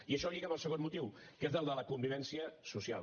i això lliga amb el segon motiu que és el de la convivència social